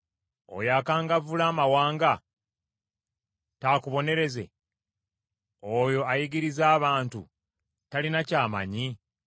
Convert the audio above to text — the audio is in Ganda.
Oyo akangavvula amawanga, taakubonereze? Oyo ayigiriza abantu talina ky’amanyi?